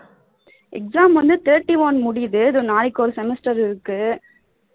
exam வந்து thirty one முடியுது நாளைக்கு ஒரு semester இருக்கு